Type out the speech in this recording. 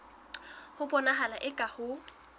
ho bonahala eka ha ho